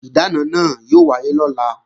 Ìdáná náà yóò wáyé lọ́la